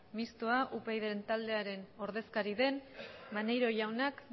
mistoa upyd taldearen ordezkari den maneiro jaunak